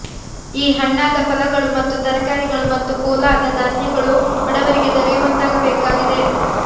ಈ ಹಣ್ಣಾದ ಫಲಗಳು ಮತ್ತು ತರಕಾರಿಗಳು ಮತ್ತು ಪೋಲಾದ ಧಾನ್ಯಗಳು ಬಡವರಿಗೆ ದೊರೆಯುವಂತಾಗಬೇಕಾಗಿದೆ